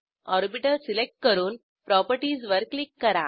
orbital select करून properties वर click करा